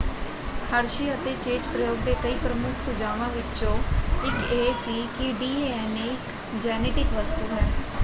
Hershey ਅਤੇ Chase ਪ੍ਰਯੋਗ ਦੇ ਕਈ ਪ੍ਰਮੁੱਖ ਸੁਝਾਵਾਂ ਵਿੱਚੋਂ ਇੱਕ ਇਹ ਸੀ ਕਿ ਡੀ.ਐਨ.ਏ. ਇੱਕ ਜੈਨੇਟਿਕ ਵਸਤੂ ਹੈੈ।